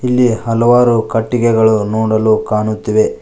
ಇಲ್ಲಿ ಹಲವಾರು ಕಟ್ಟಿಗೆಗಳು ನೋಡಲು ಕಾಣುತ್ತಿವೆ.